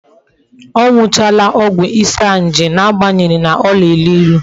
O nuchara ogwu isanaje na-agbanyeghi na o na-elu ilu